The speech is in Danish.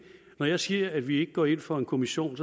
når jeg siger at vi ikke går ind for en kommission